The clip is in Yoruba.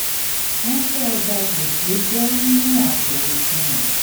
ránṣẹ́ ọjà gbèsè jẹ́ nínú àpò osùwọ̀n.